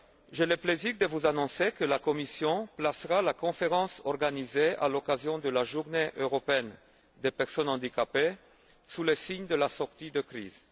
J'ai le plaisir de vous annoncer que la Commission placera la conférence organisée à l'occasion de la Journée européenne des personnes handicapées sous le signe de la sortie de crise.